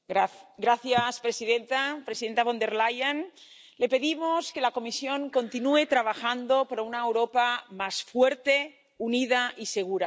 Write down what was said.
Señora presidenta, presidenta Von der Leyen, le pedimos que la Comisión continúe trabajando por una Europa más fuerte, unida y segura.